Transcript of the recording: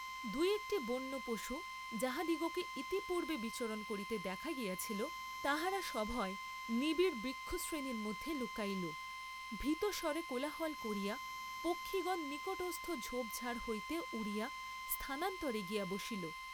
দুই একটি বন্য পশু যাহাদিগকে ইতিপূর্ব্বে বিচরণ করিতে দেখা গিয়াছিল, তাহারা সভয়ে নিবিড় বৃক্ষশ্রেণীর মধ্যে লুকাইল, ভীতস্বরে কোলাহল করিয়া পক্ষিগণ নিকটস্থ ঝোপ ঝাপ হইতে উড়িয়া স্থানান্তরে গিয়া বসিল।